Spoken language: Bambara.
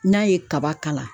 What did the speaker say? N'a ye kaba kala